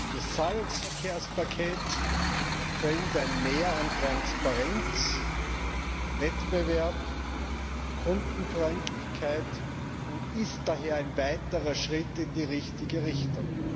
Das Zahlungsverkehrspaket bringt ein Mehr an Transparenz, Wettbewerb, Kundenfreundlichkeit und ist daher ein weiterer Schritt in die richtige Richtung.